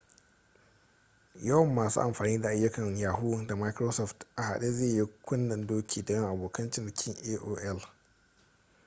yawan masu amfani da ayyukan yahoo da microsoft a haɗe zai yi kunnen-doki da yawan abokan cinikin aol